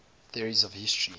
theories of history